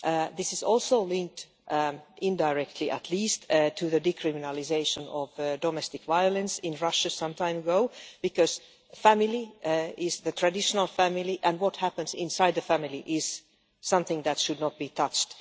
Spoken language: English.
This is also linked, indirectly at least, to the decriminalisation of domestic violence in Russia some time ago, because family' means the traditional family' and what happens inside the family is something that should not be touched.